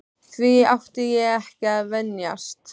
Því átti ég ekki að venjast.